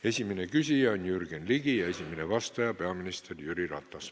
Esimene küsija on Jürgen Ligi ja esimene vastaja peaminister Jüri Ratas.